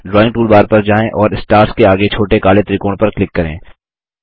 drawing toolbar पर जाएँ और स्टार्स के आगे छोटे काले त्रिकोण पर क्लिक करें